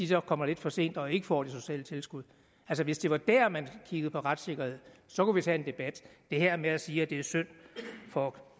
så kommer lidt for sent og ikke får det sociale tilskud altså hvis det var der man kiggede på retssikkerhed så kunne vi tage en debat det her med at sige at det er synd for